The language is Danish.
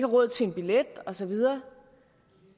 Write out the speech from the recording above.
råd til en billet og så videre